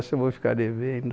Essa eu vou ficar devendo